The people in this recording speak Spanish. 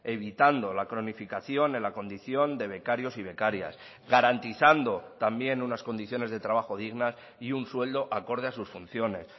evitando la cronificación en la condición de becarios y becarias garantizando también unas condiciones de trabajo dignas y un sueldo acorde a sus funciones